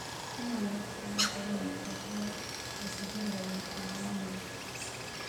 Kenya ĩrabatara gũkorwo na mĩbango ya gũtigĩrĩra ũgitĩri wa mũingĩ.